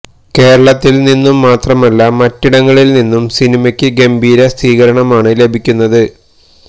കേരളത്തില് നിന്നും മാത്രമല്ല മറ്റിടങ്ങളില് നിന്നും സിനിമയക്ക് ഗംഭീര സ്വീകരണമാണ് ലഭിക്കുന്നത്